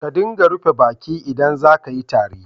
Ka dinga rufe baki idan za ka yi tari.